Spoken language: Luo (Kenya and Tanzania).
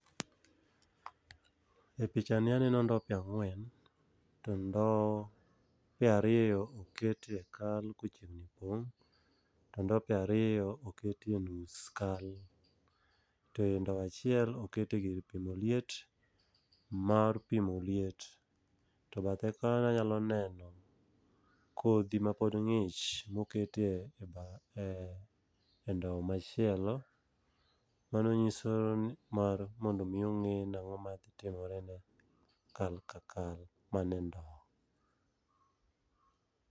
E picha ni aneno ndope ang'wen, to ndope ariyo okete kal kochiegni pong. To ndope ariyo okete nus kal. To e ndow achiel, okete gir pimo liet mar pimo liet. To bathe koni anyalo neno kodhi ma pod ng'ich mokete e bath e ndow machielo, mano nyiso n mar mondo mi ong'e ni ang'o ma timre ne kal ka kal mani e ndo.